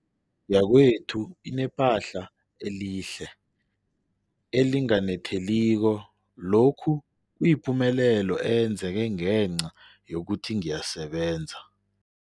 Indlu yakwethu inephahla elihle, elinganetheliko, lokhu kuyipumelelo eyenzeke ngenca yokuthi ngiyasebenza.